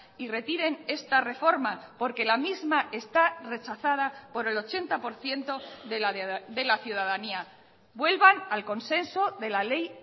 y retiren esta reforma porque la misma está rechazada por el ochenta por ciento de la ciudadanía vuelvan al consenso de la ley